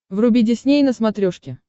вруби дисней на смотрешке